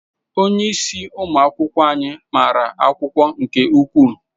Onyeisi ụmụ akwụkwọ anyị mara akwụkwọ nke ukwuu.